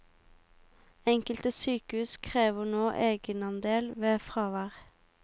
Enkelte sykehus krever nå egenandel ved fravær.